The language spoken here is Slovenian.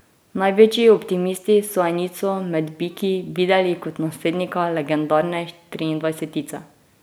Največji optimisti so enico med Biki videli kot naslednika legendarne triindvajsetice.